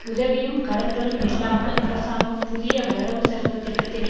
உதவியும் கடன்களும் இல்லாமல் அரசாங்கம் புதிய வரவு செலவுத்திட்டத்தினை